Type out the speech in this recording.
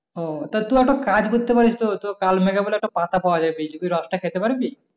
ও তুই একটা কাজ করতে পারিস তো কাল মেঘা বলে একটা পাতা পাওয়া যায় বুঝলি রস টা খেতে পারবি